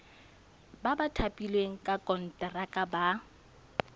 ba thapilweng ka konteraka ba